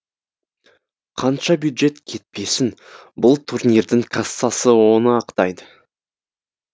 қанша бюджет кетпесін бұл турнирдің кассасы оны ақтайды